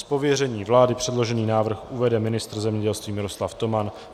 Z pověření vlády předložený návrh uvede ministr zemědělství Miroslav Toman.